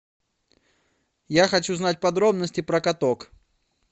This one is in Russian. я хочу знать подробности про каток